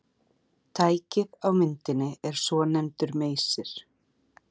Tækið á myndinni er svonefndur meysir.